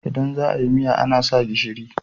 Idan za a yi miya ana sa gishiri.